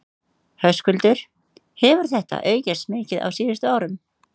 Höskuldur: Hefur þetta aukist mikið á síðustu árum?